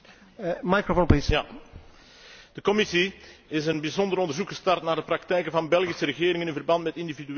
De Commissie is een bijzonder onderzoek gestart naar de praktijken van Belgische regeringen in verband met individuele belastingakkoorden met multinationals.